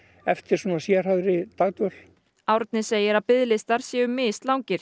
eftir sérhæfðri dagdvöl Árni segir að biðlistar séu mislangir